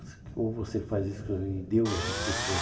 Ou você faz isso e deu as instruções.